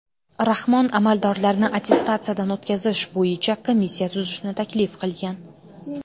Rahmon amaldorlarni attestatsiyadan o‘tkazish bo‘yicha komissiya tuzishni taklif qilgan.